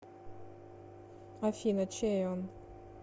афина чей он